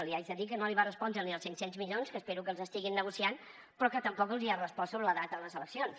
li haig de dir que no li va respondre ni als cinc cents milions que espero que els estiguin negociant però que tampoc els ha respost sobre la data de les eleccions